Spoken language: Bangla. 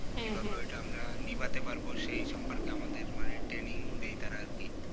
হ্যাঁ হ্যাঁ কি ভাৱে আমরা এটা নিভাতে পারবো সেই সম্পর্কে আমাদের মানে training দেয় তারা আর কি